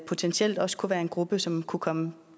potentielt også kunne være en gruppe som kunne komme